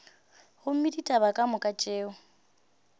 gomme ditaba ka moka tšeo